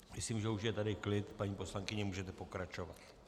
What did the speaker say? Myslím, že už je tady klid, paní poslankyně, můžete pokračovat.